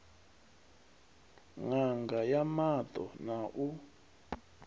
ṋanga ya maṱo na u